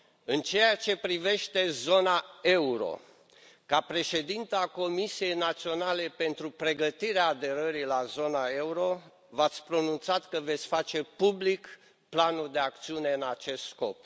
În ceea ce privește zona euro, ca președintă a Comisiei Naționale pentru pregătirea aderării la zona euro, v ați pronunțat că veți face public planul de acțiune în acest scop.